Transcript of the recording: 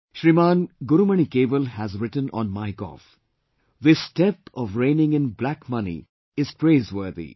Shriman Gurumani Kewal has written on MyGov "This step of reigning in black money is praiseworthy